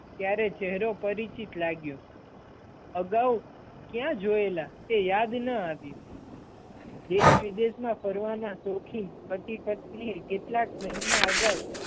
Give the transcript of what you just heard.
ત્યારે ચહેરો પરિચિત લાગ્યો, અગાઉ ક્યાં જોયેલા? તે યાદ ન આવ્યું દેશ-વિદેશ મા ફરવાના શોખીન પતિ-પત્નિએ કેટલાક મહિના અગાઉ